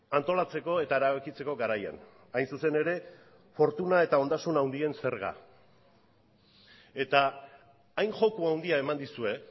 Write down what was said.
antolatzeko eta erabakitzeko garaian hain zuzen ere fortuna eta ondasun handien zerga eta hain joko handia eman dizue